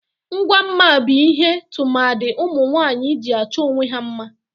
Ngwa mma bu ihe tụmadị ụmunwaanyị ji achọ onwe ha mma.